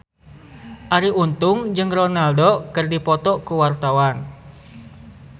Arie Untung jeung Ronaldo keur dipoto ku wartawan